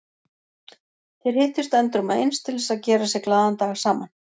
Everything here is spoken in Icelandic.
Þeir hittust endrum og eins til þess að gera sér glaðan dag saman.